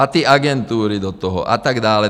A ty agentury do toho a tak dále.